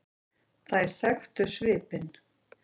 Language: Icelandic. Þær þekktu svipinn.